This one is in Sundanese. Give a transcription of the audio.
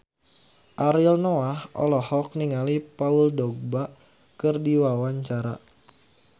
Ariel Noah olohok ningali Paul Dogba keur diwawancara